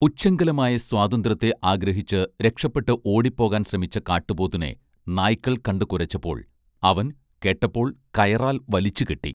ഉച്ഛൃംഖലമായ സ്വാതന്ത്ര്യത്തെ ആഗ്രഹിച്ച് രക്ഷപ്പെട്ട് ഓടി പോകാൻ ശ്രമിച്ച കാട്ട്പോത്തിനെ നായ്ക്കൾ കണ്ടു കുരച്ചപ്പോൾ അവൻ കേട്ടപ്പോൾ കയറാൽ വലിച്ചു കെട്ടി